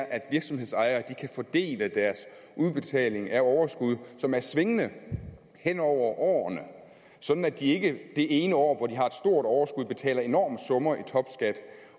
at virksomhedsejerne kan få del i udbetalingen af overskud som er svingende hen over årene sådan at de ikke det ene år hvor de har et stort overskud betaler enorme summer i topskat